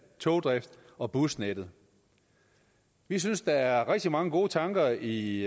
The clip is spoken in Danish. togdrift og busnettet vi synes der er rigtig mange gode tanker i